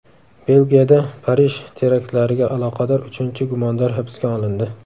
Belgiyada Parij teraktlariga aloqador uchinchi gumondor hibsga olindi.